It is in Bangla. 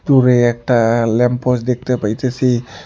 দূরে একটা ল্যামপোস দেখতে পাইতেসি।